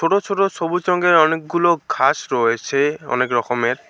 ছোট ছোট সবুজ রঙের অনেকগুলো ঘাস রয়েছে অনেক রকমের।